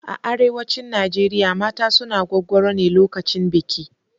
A arewacin Najeriya mata suna gwaggwaro ne lokacin biki.